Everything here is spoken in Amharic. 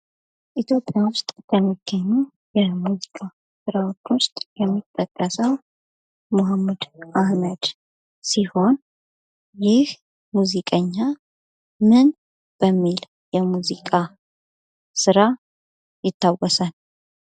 ኢትዮጵያ ውስጥ ከሚገኙ የሙዚቃ ስራዎች ውስጥ የሚጠቀሰው ሙሀመድ አህመድ ሲሆን ይህ ሙዚቀኛ ምን በሚል የሙዚቃ ስራ ይታወሳል ?